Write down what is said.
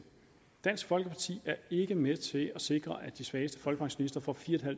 dansk folkeparti er ikke med til at sikre at de svageste folkepensionister får fire